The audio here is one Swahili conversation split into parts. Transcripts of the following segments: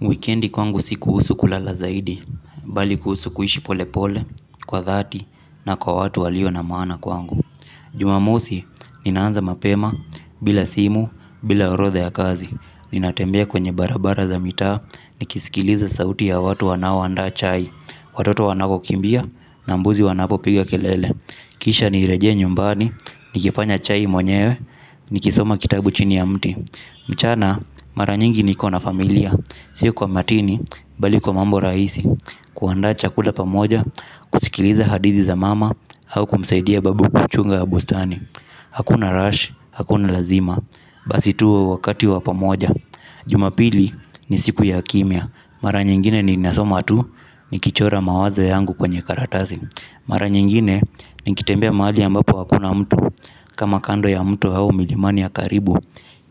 Wikendi kwangu si kuhusu kulala zaidi, bali kuhusu kuishi pole pole, kwa dhati, na kwa watu walio na maana kwangu. Jumamosi, ninaanza mapema, bila simu, bila orotha ya kazi. Ninatembea kwenye barabara za mitaa, nikisikiliza sauti ya watu wanao andaa chai. Watoto wanako kimbia, na mbuzi wanapo piga kelele. Kisha nirejee nyumbani, nikifanya chai mwenyewe, nikisoma kitabu chini ya mti. Mchana mara nyingi niko na familia. Siku kwa matini bali kwa mambo raisi. Kuandaa chakula pamoja. Kusikiliza hadithi za mama au kumsaidia babu kuchunga ya bustani. Hakuna rush, hakuna lazima. Basi tu wakati wa pamoja. Jumapili ni siku ya kimia. Mara nyingine ni nasoma tu. Ni kichora mawazo yangu kwenye karatasi mara nyingine niketembea mahali ambapo hakuna mto kama kando ya mto au milimani ya Karibu.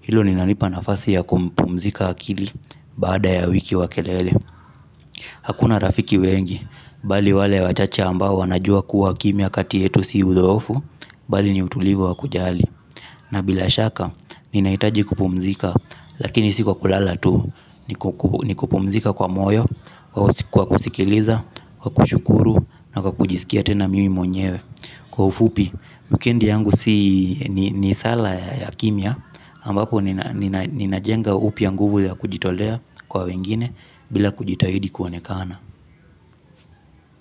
Hilo ninalipa nafasi ya kupumzika akili baada ya wiki wa kelele. Hakuna rafiki wengi, bali wale wachache ambao wanajua kuwa kimia kati yetu si uzoefu. Bali ni utulivu wa kujali. Na bila shaka, ninaitaji kupumzika, lakini si kwa kulala tu. Ni kupumzika kwa moyo, kwa kusikiliza, kwa kushukuru, na kwa kujisikia tena mimi mwenyewe. Kwa ufupi, wikendi yangu ni sala ya kimia ambapo ninajenga upya nguvu ya kujitolea kwa wengine. Bila kujitahidi kuonekana.